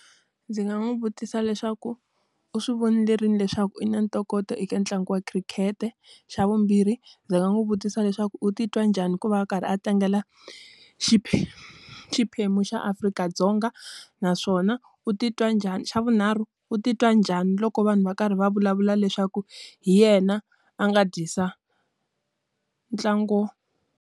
Ndzi nga n'wi vutisa leswaku u swi vonile rini leswaku u na ntokoto eka ntlangu wa khirikhete? Xa vumbirhi ndzi nga n'wi vutisa leswaku u titwa njhani ku va a karhi a tlangela xiphemu xa Afrika-Dzonga. Naswona u titwa njhani xa vunharhu, u titwa njhani loko vanhu va karhi va vulavula leswaku hi yena a nga dyisa ntlangu?